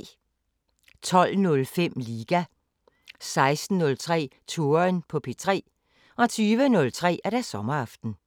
12:05: Liga 16:03: Touren på P3 20:03: Sommeraften